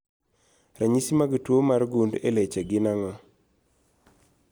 Ranyisi mag tuo mar gund e leche gin ang'o?